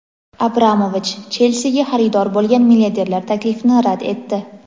Abramovich "Chelsi"ga xaridor bo‘lgan milliarderlar taklifini rad etdi.